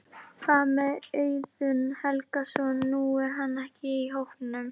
Hvað með Auðun Helgason, nú er hann ekki í hópnum?